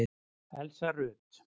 Elsa Rut.